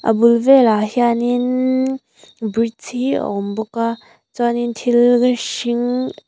a bul velah hianinnn bridge hi a awm bawk a chuanin thil hring--